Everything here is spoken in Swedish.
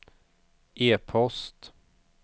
e-post